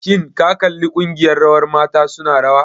Shin ka kalli ƙungiyar rawar mata su na rawa?